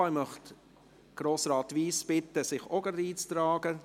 Ich möchte Grossrat Wyss bitten, sich auch gleich in die Rednerliste einzutragen.